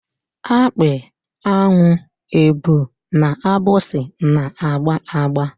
Akpị, an̄ụ, èbù na agbịsị na-agba agba.